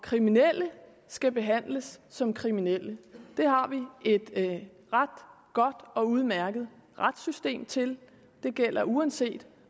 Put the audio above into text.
kriminelle skal behandles som kriminelle det har vi et ret godt og udmærket retssystem til det gælder uanset